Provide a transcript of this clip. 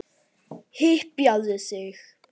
Hypjaðu þig!